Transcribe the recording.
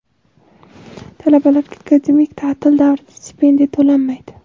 Talabalarga akademik taʼtil davrida stipendiya to‘lanmaydi.